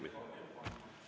Ei.